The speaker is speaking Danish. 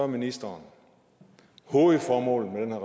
ministeren hovedformålet med